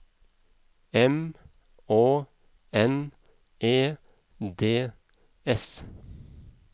M Å N E D S